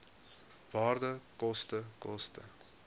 waarde koste koste